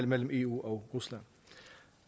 mellem eu og rusland